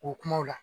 O kumaw la